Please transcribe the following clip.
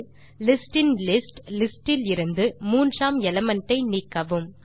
லிஸ்டின்லிஸ்ட் list இலிருந்து மூன்றாம் element ஐ நீக்கவும்